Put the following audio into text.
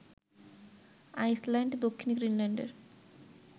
Iceland, দক্ষিণ গ্রিনল্যান্ডের